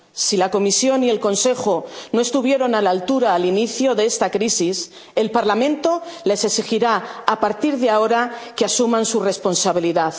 Si la Comisión y el Consejo no estuvieron a la altura al inicio de esta crisis, el Parlamento les exigirá a partir de ahora que asuman su responsabilidad.